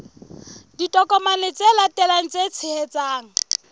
ditokomane tse latelang tse tshehetsang